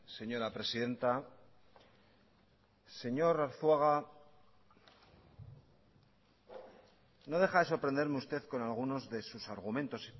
señora presidenta señor arzuaga no deja de sorprenderme usted con alguno de sus argumentos